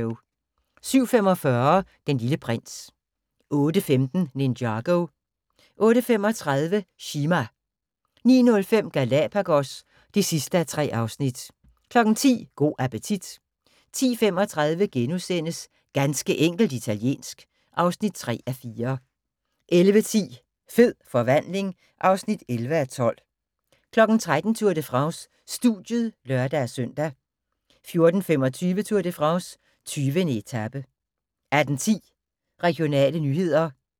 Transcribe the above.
07:45: Den Lille Prins 08:15: Ninjago 08:35: Chima 09:05: Galapagos (3:3) 10:00: Go' appetit 10:35: Ganske enkelt italiensk (3:4)* 11:10: Fed forvandling (11:12) 13:00: Tour de France: Studiet (lør-søn) 14:25: Tour de France: 20. etape 18:10: Regionale nyheder